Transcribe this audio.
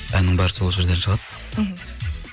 әннің бәрі сол жерден шығады мхм